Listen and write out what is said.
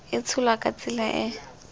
e tsholwa ka tsela e